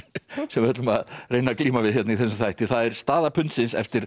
sem við ætlum að reyna að glíma við i þessum þætti það er staða pundsins eftir